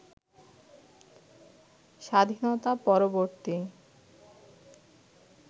স্বাধীনতা-পরবর্তী